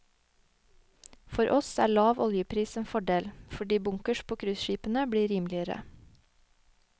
For oss er lav oljepris en fordel, fordi bunkers på cruiseskipene blir rimeligere.